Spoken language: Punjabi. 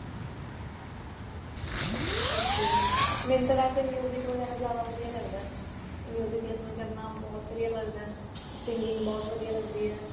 ok ਮੇਨੂੰ ਤਾਂ ਵੇਸੇ ਵਧੀਆ ਵਗੈਰਾ ਜਿਆਦਾ ਵਧੀਆ ਲੱਗਦਾ listen ਕਰਨਾ ਬਹੁਤ ਵਧੀਆ ਲੱਗਦਾ singing ਬਹੁਤ ਵਧੀਆ ਲੱਗਦੀ ਏ